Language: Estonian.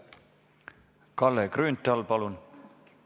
Kalle Grünthal, palun!